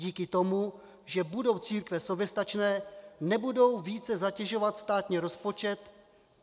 Díky tomu, že budou církve soběstačné, nebudou více zatěžovat státní rozpočet.